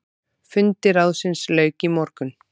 Fundi ráðsins lauk í morgun.